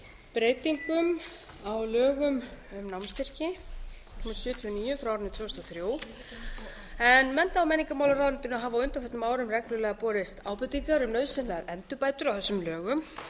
breytingum á lögum um námsstyrki númer sjötíu og níu tvö þúsund og þrjú mennta og menningarmálaráðuneytinu hafa á undanförnum árum reglulega borist ábendingar um nauðsynlegar endurbætur á þessum lögum